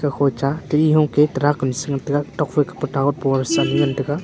hocha tile hoke tract am che ngan taiga tokphai ke tawer post ani ngan taiga.